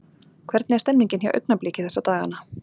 Hvernig er stemningin hjá Augnabliki þessa dagana?